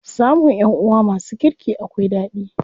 Samun ƴanʼuwa masu kirki akwai ɗadi.